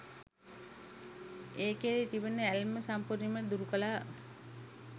ඒ කෙරෙහි තිබෙන ඇල්ම සම්පූර්ණයෙන්ම දුරුකළා.